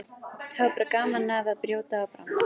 Hafa bara gaman af að brjóta og bramla.